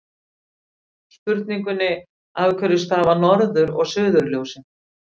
Spurningunni Af hverju stafa norður- og suðurljósin?